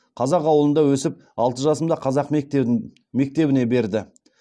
қазақ ауылында өсіп алты жасымда қазақ мектебіне берді